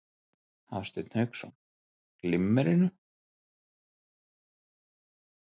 Hafsteinn Hauksson: Glimmerinu?